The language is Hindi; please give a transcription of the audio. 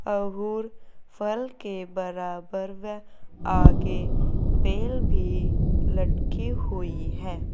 अहूर फल के बराबर व आगे बेल भी लटकी हुई है।